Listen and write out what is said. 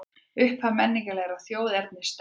Upphaf menningarlegrar þjóðernisstefnu